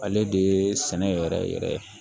Ale de ye sɛnɛ yɛrɛ yɛrɛ ye